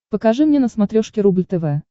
покажи мне на смотрешке рубль тв